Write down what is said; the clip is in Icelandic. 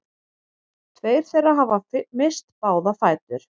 Tveir þeirra hafa misst báða fætur